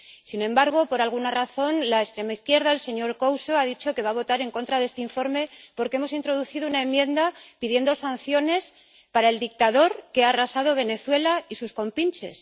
Sin embargo, por alguna razón, la extrema izquierda —el señor Couso— ha dicho que va a votar en contra de este informe porque hemos introducido una enmienda pidiendo sanciones para el dictador que ha arrasado Venezuela y sus compinches.